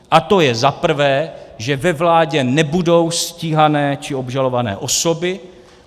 A to je za prvé, že ve vládě nebudou stíhané či obžalované osoby.